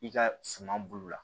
I ka suma bulu la